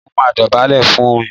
Mó máa dọ̀bálẹ̀ fún un ni